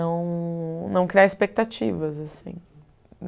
não criar expectativas, assim.